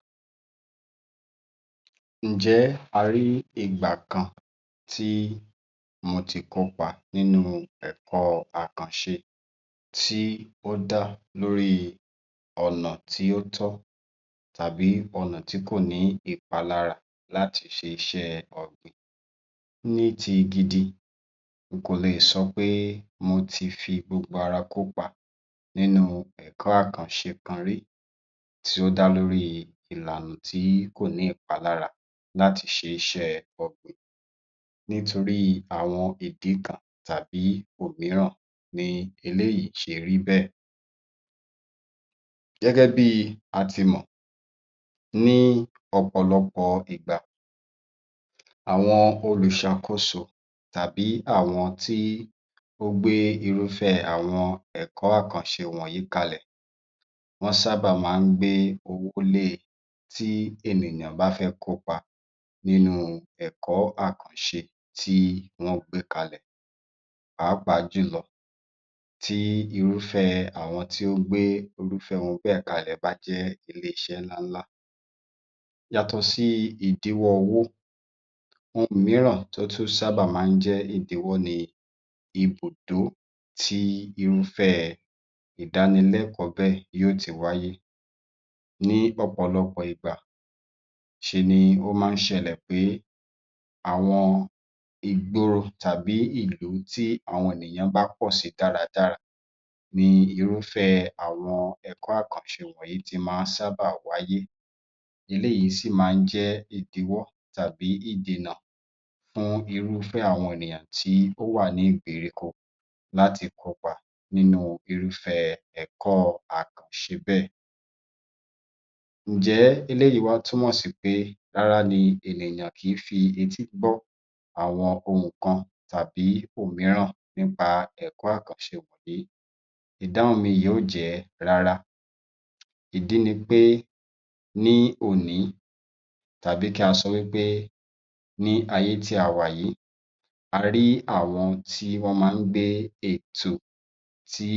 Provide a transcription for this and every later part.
42. Ǹjẹ́ a rí ìgbà kan tí mo ti kópa nínú ẹ̀kọ́ àkànṣe tí ó dá lórí ọ̀nà tí ó tọ́ tàbí ọ̀nà tí kò ní ìpalára láti ṣe iṣẹ́ ọ̀gbìn. Ní ti gidi n kò leè sọ pé mo ti fi gbogbo ara kópa nínú ẹ̀kọ́ àkànṣe kan rí tí ó dá lórí ìlànà tí kò ní ìpalára láti ṣe iṣẹ́ẹ ọ̀gbìn nítorí àwọn ìdí kan tàbí òmíràn ni eléyìí ṣe rí bẹ́ẹ̀. Gẹ́gẹ́ bí a ti mọ̀ ní ọ̀pọ̀lọpọ̀ ìgbà àwọn olùṣàkóso tàbí àwọn tí ó gbé irúfẹ́ àwọn ẹ̀kọ́ àkànṣe wọ̀nyí kalẹ̀, wọ́n sábà máa ń gbé owó lé e tí ènìyàn bá fẹ́ kópa nínú-un ẹ̀kọ́ àkànṣe tí wọ́n gbé kalẹ̀, pàápàá jùlọ tí irúfẹ́ àwọn tí ó gbé irúfẹ́ ohun bẹ́ẹ̀ kalẹ̀ bá jẹ́ iléeṣẹ́ ńláńlá. Yàtọ̀ sí ìdíwọ́ owó, ohun mìíràn tó tún sábà máa ń jẹ́ ìdíwọ́ ni ibùdó tí irúfẹ́ẹ ìdánilẹ́kọ̀ọ́ bẹ́ẹ̀ yó ti wáyé. Ní ọ̀pọ̀lọpọ̀ ìgbà, ṣe ni ó má ń ṣẹlẹ̀ pé àwọn ìgboro tàbí ìlú tí àwọn ènìyàn bá pọ̀ sí dáradára ni irúfẹ́ẹ àwọn ẹ̀kọ́ àkànṣe yìí ti sábà máa ń wáyé, eléyìí sì máa ń jẹ́ ìdíwọ́ tàbí ìdènà fún irúfẹ́ àwọn ènìyàn tí ó wà ní ìgbèríko láti kópa nínu irúfẹ́ ẹ̀kọ́ọ àkànṣe bẹ́ẹ̀. Ǹjẹ́ eléyìí wá túmọ̀ sí pé rárá ni ènìyàn kìí fi etí gbọ́ àwọn ohun kan tàbí ohun mìíràn nípa ẹ̀kọ́ àkànṣe wọ̀nyí. Ìdáhùn mi yìí yóò jẹ́ rárá, ìdí ni pé ní òní tàbí kí a sọ wí pé ní ayé tí a wà yìí, a rí àwọn tí wọ́n máa ń gbé ètò tí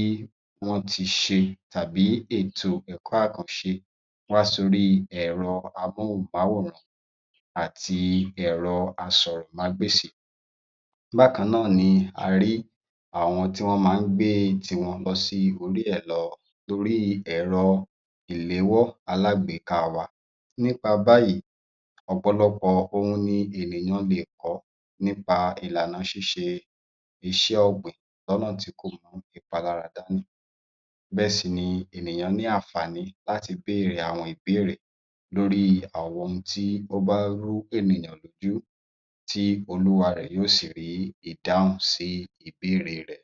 wọ́n ti ṣe tàbí ètò ẹ̀kọ́ àkànṣe wá sóríi ẹ̀rọ-amúhùn-mawòrán àti ẹ̀rọ-asọ̀rọ̀mágbèsì. Bákan náà ni a rí àwọn tí wọ́n má ń gbé tiwọn lọ sí orílẹ̀ lọ toríi ẹ̀rọ ìléwọ́ alágbèéka wa. Nípa báyìí, ọ̀pọ̀lọpọ̀ ohun ni ènìyàn leè kọ́ nípa ìlà ṣíṣe iṣẹ́ ọ̀gbìn lọ́nà tí kò mú ìpalára dání bẹ́ẹ̀ sì ni ènìyàn ní àǹfààní láti béèrè àwọn ìbéèrè lórí àwọn ohun tí ó bá rú ènìyàn lójú tí olúwa rẹ̀ yóò sì rí ìdáhùn sí ìbéèrè